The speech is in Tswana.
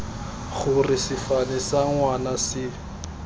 gore sefane sa ngwana se